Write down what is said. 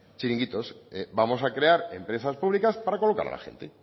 txiringuitos vamos a crear empresas públicas para colocar a la gente